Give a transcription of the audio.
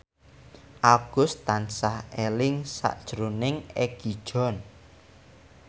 Agus tansah eling sakjroning Egi John